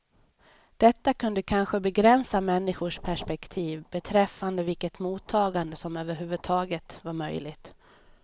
Detta kunde kanske begränsa människors perspektiv beträffande vilket mottagande som överhuvudtaget var möjligt.